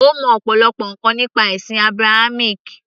ó mọ ọ̀pọ̀lọpọ̀ ǹkan nípa ẹ̀sìn Abrahamic